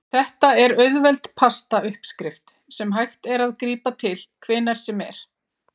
Þetta er auðveld pasta uppskrift sem hægt er að grípa til hvenær sem er.